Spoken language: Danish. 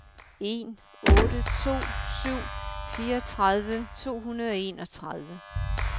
en otte to syv fireogtredive to hundrede og enogtredive